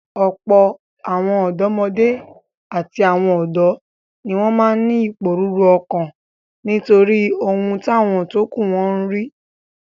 Ọ̀pọ̀ àwọn ọ̀dọ́mọdé àti àwọn ọ̀dọ́ ni wọ́n máa ń ìpòrú ọ̀kan nítorí